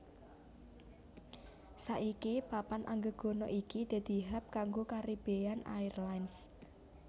Saiki papan anggegana iki dadi hub kanggo Caribbean Airlines